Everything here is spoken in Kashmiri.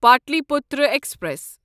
پاٹلیپوترا ایکسپریس